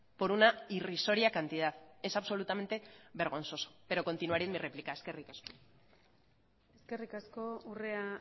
por una irrisoria cantidad es absolutamente vergonzoso pero continuaré en mi réplica eskerrik asko eskerrik asko urrea